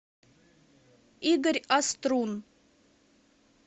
игорь острун